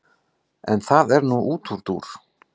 En það er nú útúrdúr.